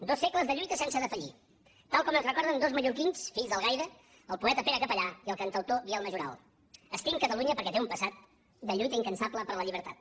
dos segles de lluites sense defallir tal com ens recorden dos mallorquins fills d’algaida el poeta pere capellà i el cantautor biel majoral estim catalunya perquè té un passat de lluita incansable per la llibertat